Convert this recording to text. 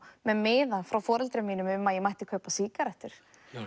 með miða frá foreldrum mínum um að ég mætti kaupa sígarettur